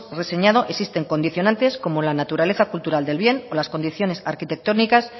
reseñado existen condicionantes como la naturaleza cultural del bien o las condiciones arquitectónicas